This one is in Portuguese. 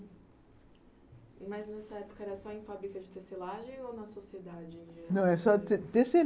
Mas nessa época era só em fábrica de tecelagem ou na sociedade? Não, era só tece